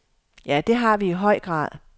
Ja, det har vi i høj grad.